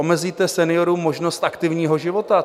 Omezíte seniorům možnost aktivního života?